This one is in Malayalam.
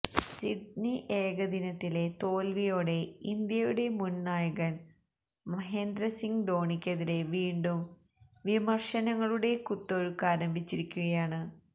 സിഡ്നി ഏകദിനത്തിലെ തോൽവിയോടെ ഇന്ത്യയുടെ മുൻ നായകൻ മഹേന്ദ്ര സിങ് ധോണിക്കെതിരെ വീണ്ടും വിമർശനങ്ങളുടെ കുത്തൊഴുക്കാരംഭിച്ചിരിക്കുകയാണ്